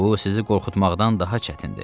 Bu sizi qorxutmaqdan daha çətindir.